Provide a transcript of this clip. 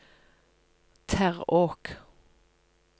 Terråk